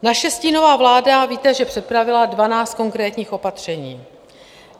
Naše stínová vláda, víte, že připravila 12 konkrétních opatření.